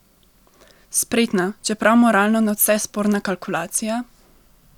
Spretna, čeprav moralno nadvse sporna kalkulacija?